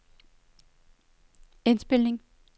indspilning